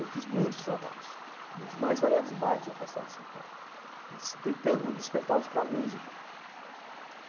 Eu fiz muitos trabalhos nos mais variados bairros afastados de São Paulo, tentando despertá-los para a música.